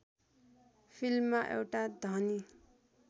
फिल्ममा एउटा धनी